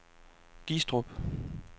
Gistrup